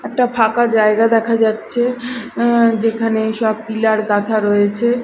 একটা ফাঁকা জায়গা দেখা যাচ্ছে অ্যা যেখানে সব পিলার গাঁথা রয়েছে।